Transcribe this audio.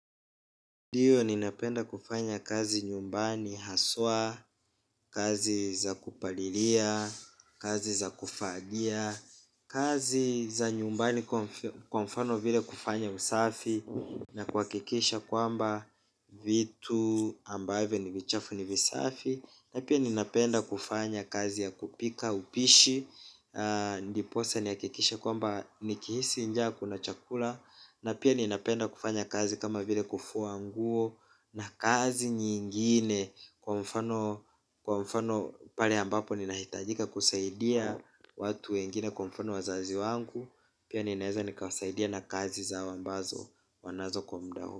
Ndio ninapenda kufanya kazi nyumbani haswa, kazi za kupalilia kazi za kufagia kazi za nyumbani kwa mfano vile kufanya usafi na kuhakikisha kwamba vitu ambavyo ni vichafu ni visafi na pia ninapenda kufanya kazi ya kupika upishi ndipo sa nihakikishe kwamba nikihisi njaa kuna chakula na pia ninapenda kufanya kazi kama vile kufua nguo na kazi nyingine kwa mfano pale ambapo ninahitajika kusaidia watu wengine kwa mfano wazazi wangu. Pia ninaweza nikawasaidia na kazi zao ambazo wanazo kwa mda huo.